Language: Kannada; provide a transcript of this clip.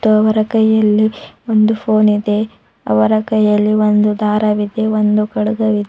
ಮತ್ತು ಅವರ ಕೈಯಲ್ಲಿ ಒಂದು ಫೋನ್ ಇದೆ ಅವರ ಕೈಯಲ್ಲಿ ಒಂದು ದಾರವಿದೆ ಒಂದು ಖಡ್ಗವಿದ್--